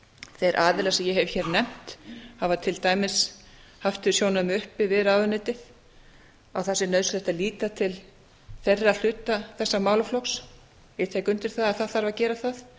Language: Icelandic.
þeir aðilar sem ég hef hér nefnt hafa til dæmis haft þau sjónarmið uppi við ráðuneytið að það sé nauðsynlegt að líta til þeirra hluta þessa málaflokks ég tek undir það það þarf að gera það